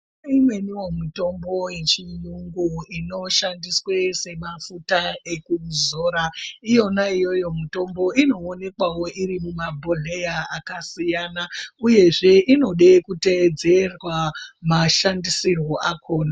Kune imweniwo mitombo hechiyungu inoshandiswe semafuta ekuzora iyona iyoyo mitombo inoonekwawo iri muma bhodhleya akasiyana uyzezve inode kuteedzerwa mashandisirwe akona.